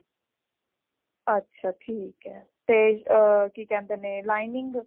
ਅੱਛਾ ਠੀਕ ਹੈ ਤੇ ਕੀ ਕਹਿੰਦੇ ਨੇ lining